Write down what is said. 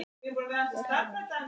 Hér er ég örugg.